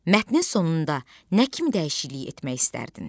Mətnin sonunda nə kimi dəyişiklik etmək istərdin?